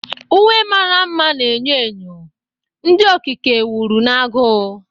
Uwe mara mma na enyo enyo, ndị okike wuru na agụụ.